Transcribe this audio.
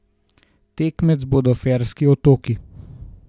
Tekmec bodo Ferski otoki.